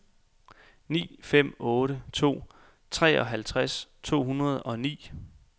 ni fem otte to treoghalvtreds to hundrede og ni